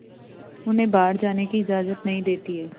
उन्हें बाहर जाने की इजाज़त नहीं देती है